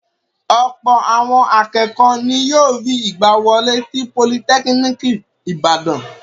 Ọ̀pọ̀ àwọn akẹ́kọ̀ọ́ ni yóò rí ìgbàwọlé sí Politẹ́kíníkì Ìbàdàn.